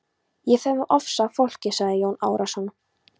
Ég fer með ofsa að fólki, sagði Jón Arason.